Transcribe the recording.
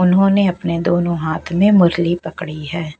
उन्होंने अपने दोनों हाथ में मुरली पकड़ी है।